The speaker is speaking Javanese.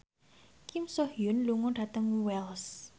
Kim So Hyun lunga dhateng Wells